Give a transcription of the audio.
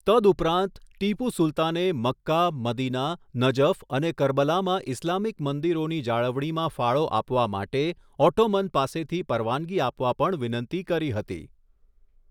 તદુપરાંત, ટીપુ સુલતાને Mecca, Medina, Najaf અને કરબલામાં ઇસ્લામિક મંદિરોની જાળવણીમાં ફાળો આપવા માટે ઓટ્ટોમન પાસેથી પરવાનગી આપવા પણ વિનંતી કરી હતી.